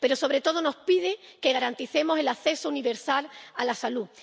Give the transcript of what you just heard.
Pero, sobre todo, nos pide que garanticemos el acceso universal a la salud.